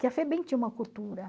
Que a Febem tinha uma cultura.